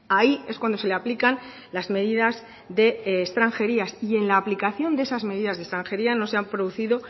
ahí es cuando se le aplican las medidas de extranjería y en la aplicación de esas medidas de extranjería no se han producido